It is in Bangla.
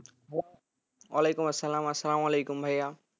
ওয়ালাইকুম আসসালাম, আসসালামু আলাইকুম ভাইয়া